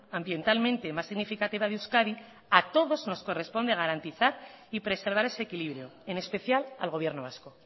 ambientalmente más significativa de euskadi a todos nos corresponde garantizar y preservar ese equilibrio en especial al gobierno vasco